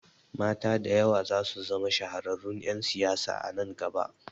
Mata da yawa zasu zama shahararrun ƴan siyasa a nan gaba